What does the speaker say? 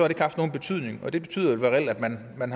ikke haft nogen betydning og det betyder vel reelt at man man